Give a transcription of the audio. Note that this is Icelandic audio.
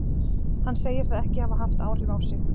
Hann segir það ekki hafa haft áhrif á sig.